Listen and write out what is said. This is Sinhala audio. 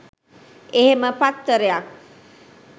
එහෙම පත්තරයක්